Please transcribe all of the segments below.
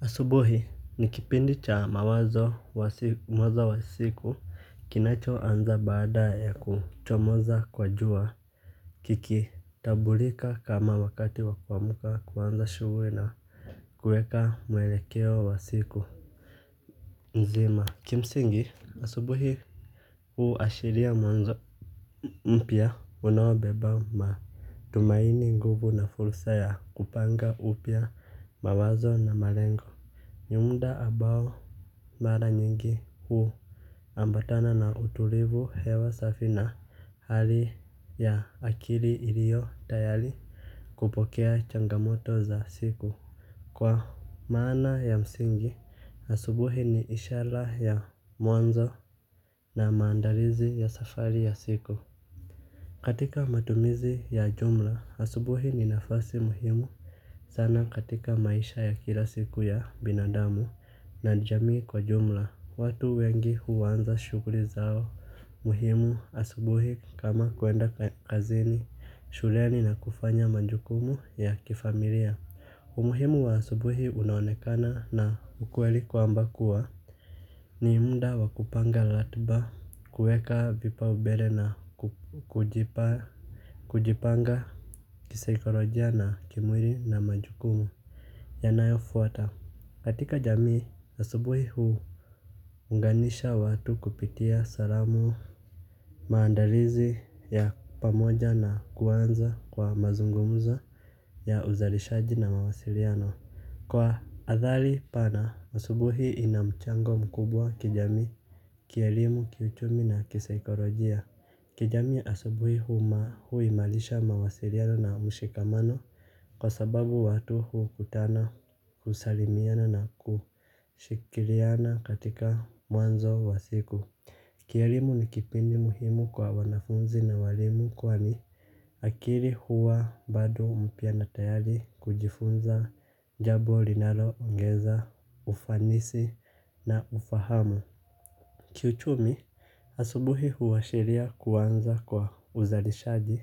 Asubuhi ni kipindi cha mwanzo wa siku kinacho anza baada ya kuchomoza kwa jua. Kiki tambulika kama wakati wakuamka kuanza shughuli na kuweka mwelekeo wa siku nzima. Kimsingi asubuhi huashiria mwanzo mpya unaobeba matumaini nguvu na fursa ya kupanga upya mawazo na malengo ni muda ambao mara nyingi hu ambatana na utulivu hewa safi na hali ya akili iliyo tayari kupokea changamoto za siku. Kwa maana ya msingi asubuhi ni ishara ya mwanzo na maandalizi ya safari ya siku. Katika matumizi ya jumla asubuhi ni nafasi muhimu sana katika maisha ya kila siku ya binadamu na jamii kwa jumla watu wengi huanza shughuli zao muhimu asubuhi kama kuenda kazini shuleni na kufanya majukumu ya kifamilia umuhimu wa asubuhi unaonekana na ukweli kwamba kuwa ni muda wa kupanga ratiba kuweka vipaombele na kujipanga. Kisaikolojia na kimwili na majukumu yanayo fwata katika jamii, asubuhi huunganisha watu kupitia salamu. Maandalizi ya pamoja na kuanza kwa mazungumuzo ya uzalishaji na mawasiliano kwa athari pana, asubuhi ina mchango mkubwa kijamii kielimu, kiuchumi na kisaikolojia. Kijamii asubuhi huimarisha mawasiliano na mshikamano. Kwa sababu watu hukutana husalimiana na kushirikiana katika mwanzo wa siku. Kielimu ni kipindi muhimu kwa wanafunzi na waalimu kwani akili huwa bado mpya na tayari kujifunza jambo linalo ongeza ufanisi na ufahamu. Kiuchumi asubuhi huashiria kuanza kwa uzali shaji.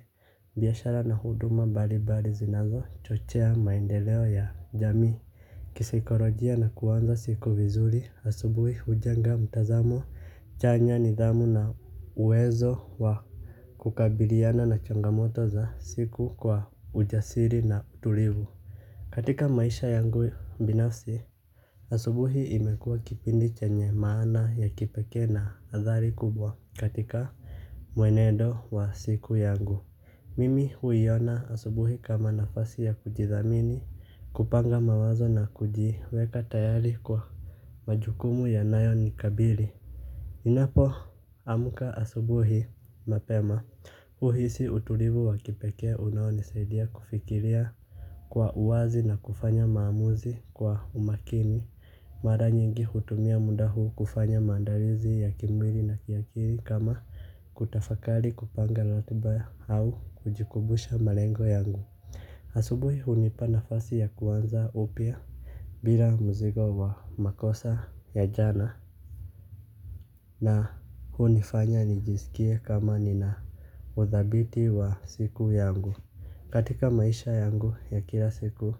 Biashara na huduma mbali mbali zinazo chochea maendeleo ya jamii. Kisaikolojia na kuanza siku vizuri asubuhi hujenga mtazamo chanya nidhamu na uwezo wa kukabiliana na changamoto za siku kwa ujasiri na utulivu. Katika maisha yangu binafsi asubuhi imekua kipindi chenye maana ya kipekee na athari kubwa. Katika muenendo wa siku yangu. Mimi huiona asubuhi kama nafasi ya kujidhamini. Kupanga mawazo na kujiweka tayari kwa majukumu yanayo nikabili ninapo amka asubuhi mapema huhisi utulivu wa kipekee unao nisaidia kufikiria. Kwa uwazi na kufanya maamuzi kwa umakini. Mara nyingi hutumia muda huu kufanya maandalizi ya kimwili na kiakili kama kutafakari kupanga ratiba au kujikumbusha malengo yangu. Asubuhi hunipa nafasi ya kuanza upya. Bila mzigo wa makosa ya jana. Na hunifanya nijisikie kama nina udhabiti wa siku yangu. Katika maisha yangu ya kila siku.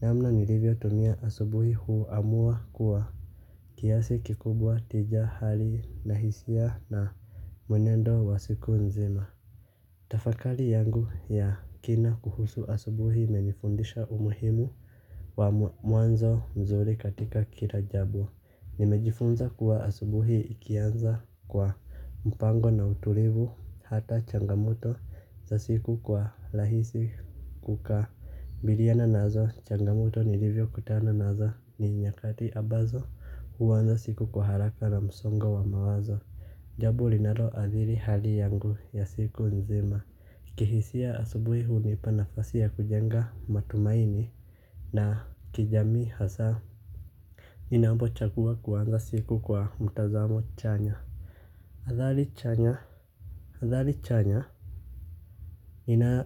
Namna nilivyo tumia asubuhi huamua kuwa kiasi kikubwa tija hali na hisia na mwenendo wa siku nzima. Tafakari yangu ya kina kuhusu asubuhi imenifundisha umuhimu wa mwanzo mzuri katika kila jambo. Nimejifunza kuwa asubuhi ikianza kwa mpango na utulivu hata changamoto za siku kwa rahisi kukabiliana nazo. Changamoto nilivyo kutana nazo ni nyakati ambazo huanza siku kwa haraka na msongo wa mawazo. Jambo linaloadhiri hali yangu ya siku nzima. Kihisia asubuhi hunipa nafasi ya kujenga matumaini na kijamii hasa ninapo chagua kuanza siku kwa mtazamo chanya athari chanya athari chanya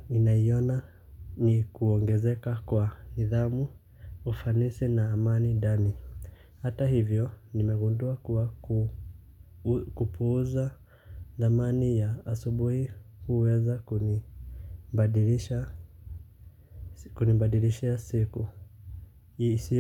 ninaiona ni kuongezeka kwa nidhamu ufanisi na amani ndani. Hata hivyo nimegundua kuwa kupuuza dhamani ya asubuhi huweza kunibadilisha siku.